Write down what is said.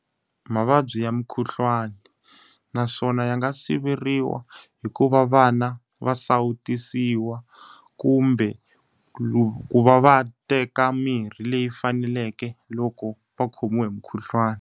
Mavabyi ya mukhuhlwani. Naswona ya nga siveriwa hi ku va vana va sawutisiwa, kumbe ku va va teka mirhi leyi faneleke loko va khomiwe hi mukhuhlwani.